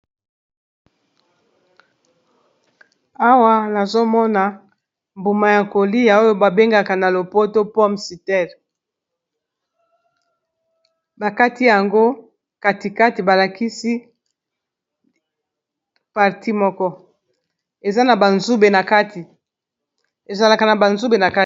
Awa nazomona mbuma ya kolia oyo ba bengaka na lopoto pome citer, bakati yango katikati balakisi parti moko ezalaka na banzube nk